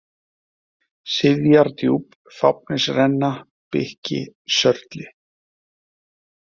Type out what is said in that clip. Sifjardjúp, Fáfnisrenna, Bikki, Sörli